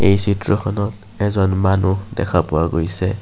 এই চিত্ৰখনত এজন মানুহ দেখা পোৱা গৈছে।